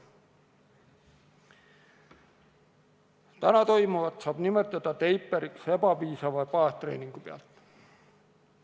Täna toimuvat saab nimetada teiperiks, mida tehakse ebapiisava baastreeningu pinnalt.